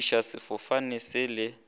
go fofiša sefofane se le